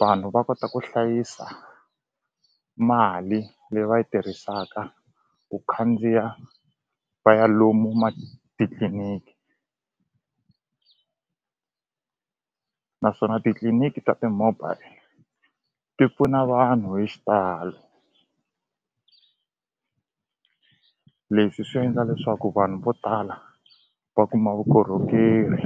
vanhu va kota ku hlayisa mali leyi va yi tirhisaka ku khandziya va ya lomu titliniki naswona titliniki ta ti-mobile ti pfuna vanhu hi xitalo leswi swi endla leswaku vanhu vo tala va kuma vukorhokeri.